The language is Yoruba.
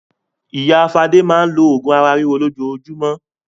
Ìyá Fadé máa ń lo oògùn ara ríro lójoojúmọ́.